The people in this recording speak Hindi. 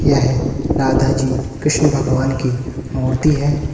यह राधा जी कृष्ण भगवान की मूर्ति है।